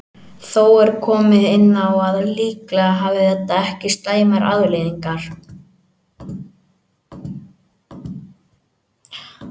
Þó er komið inn á að líklega hafi þetta ekki slæmar afleiðingar.